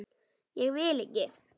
Ég vil ekki.